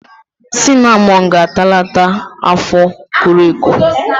Sinamọn ga-atalata afọ koro eko.